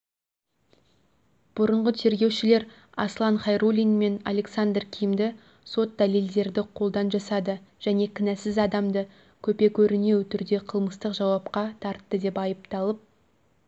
бұрынғы тергеушілер аслан хайруллин мен александр кимді сот дәлелдерді қолдан жасады және кінәсіз адамды көпе-көрінеу түрде қылмыстық жауапқа тартты деп айыпталып